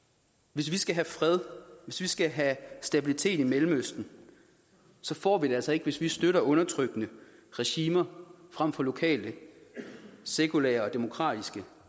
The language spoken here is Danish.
hvis vi skal have fred hvis vi skal have stabilitet i mellemøsten så får vi det altså ikke hvis vi støtter undertrykkende regimer frem for lokale sekulære og demokratiske